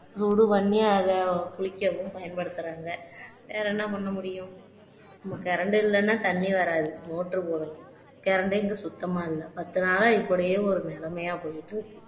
சூடு பண்ணி அதை குடிக்கவும் பயன்படுத்துறாங்க வேற என்ன பண்ண முடியும் current இல்லன்னா தண்ணி வராது motor போட current இங்க சுத்தமா இல்ல பத்து நாளா இப்படியே ஒரு நிலைமையா போயிட்டு இருக்கு